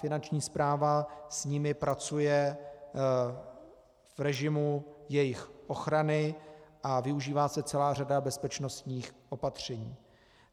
Finanční správa s nimi pracuje v režimu jejich ochrany a využívá se celá řada bezpečnostních opatření.